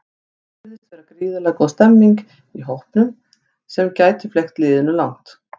Svo virðist vera gríðarlega góð stemmning í hópnum sem gæti fleygt liðinu langt.